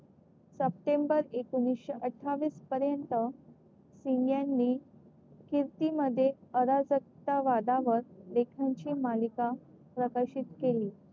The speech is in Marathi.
सप्टेंबर एकोणीशे अत्तावीस पर्यंत सिंग यांनी कीर्ती मध्ये अराजकता वादावर लेखांची मालिका प्रकाशित केली.